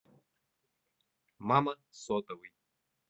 мама сотовый